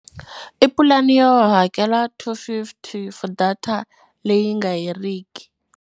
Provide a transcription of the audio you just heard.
I pulani yo hakela two fifty for data leyi nga heriki.